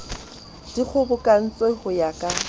di kgobokantswe ho ya ka